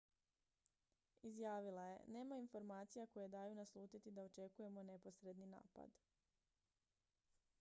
"izjavila je: "nema informacija koje daju naslutiti da očekujemo neposredni napad.